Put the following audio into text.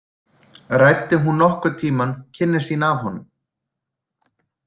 Ræddi hún nokkurn tímann kynni sín af honum?